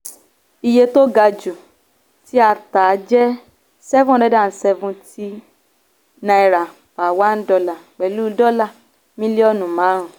iye tó ga jù tí a tà jẹ́ seven hundred and seventy naira per one dollar pẹ̀lú dọ́là mílíọ̀nù márùn-ún.